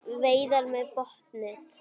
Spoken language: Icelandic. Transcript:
Veiðar með botnnet